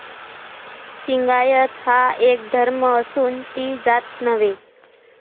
लिंगायत हा एक धर्म असून ती जात नव्हे.